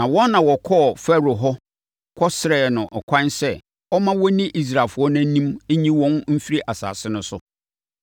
Na wɔn na wɔkɔɔ Farao hɔ kɔsrɛɛ no ɛkwan sɛ ɔmma wɔnni Israelfoɔ no anim nyi wɔn mfiri asase no so.